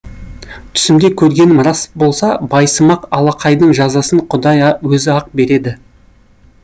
түсімде көргенім рас болса байсымақ алақайдың жазасын құдай өзі ақ береді